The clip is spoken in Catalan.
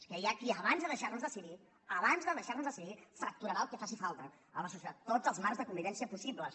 és que hi ha qui abans de deixarnos decidir abans de deixarnos decidir fracturarà el que faci falta la societat tots els marcs de convivència possibles